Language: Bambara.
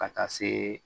Ka taa se